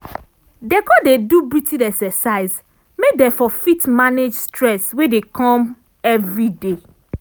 dem con dey do breathing exercise make dem for fit manage stress wey dey come everyday.